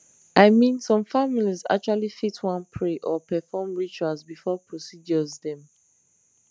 i mean some families actually fit wan pray or perform rituals before procedures dem